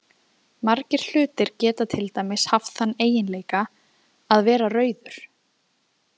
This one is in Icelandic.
Margir hlutir geta til dæmis haft þann eiginleika að vera rauður.